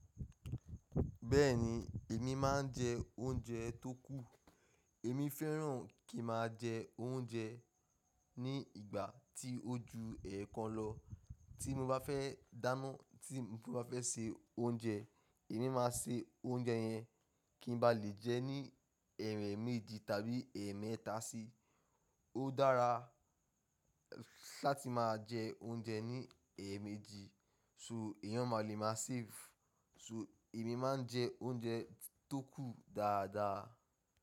Bẹ́ẹ̀ni, èmi má a ń jẹ oúnjẹ tó kù. Èmi fẹ́ràn kí má a jẹ oúnjẹ ní ìgbà tí ó ju ẹẹkan lọ. Tí mo bá fẹ́ dáná, tí mo bá fẹ́ se oúnjẹ, èmi má a se oúnjẹ yẹn kí n bá lè jẹ ní ẹ̀ẹ̀ méjì tàbí ẹ̀ẹ̀mẹ́ta sí. Ó dára láti má a jẹ oúnjẹ ní ẹ̀ẹ̀mẹ́jì, so èèyàn máa lè máa save. So èmi má a ń jẹ oúnjẹ tó kù dáadáa.